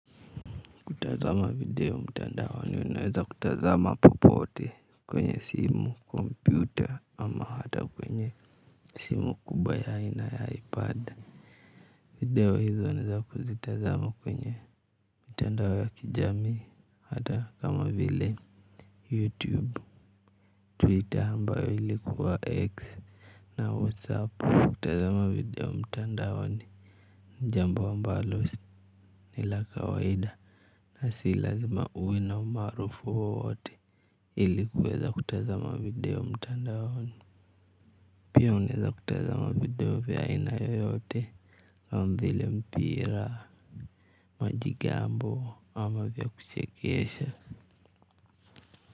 Kutazama video mtandaoni unaweza kutazama popote kwenye simu, kompyuta ama hata kwenye simu kubwa ya aina ya ipad. Video hizo ni za kuzitazama kwenye mitandao ya kijamii hata kama vile youtube, twitter ambayo ilikuwa x na whatsapp. Kutazama video mtandaoni ni jambo ambalo ni la kawaida na si lazima uwe na umaarufu wowote ili kuweza kutazama video mtandaoni. Pia unaeza kutazama video vya aina yoyote kama vile mpira, majigambo ama vya kuchekesha.